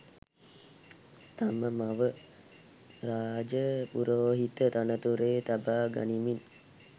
තම මව රාජ පුරෝහිත තනතුරේ තබා ගනිමින්